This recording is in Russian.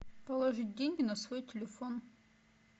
положить деньги на свой телефон